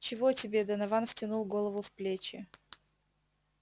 чего тебе донован втянул голову в плечи